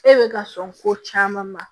E bɛ ka sɔn ko caman ma